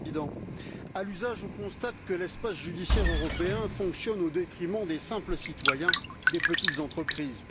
Monsieur le Président, à l'usage, on constate que l'espace judiciaire européen fonctionne au détriment des simples citoyens, des petites entreprises.